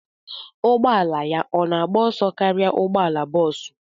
Ụgbọ ala ya ọ na-agba ọsọ karịa ụgbọ ala bọsụ?